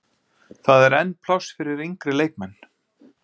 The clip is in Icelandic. Það er enn pláss fyrir yngri leikmenn.